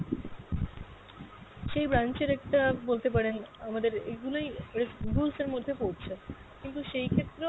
সেই branch এর একটা বলতে পারেন আমাদের এগুলোই rules এর মধ্যে পরছে। কিন্তু সেই ক্ষেত্রেও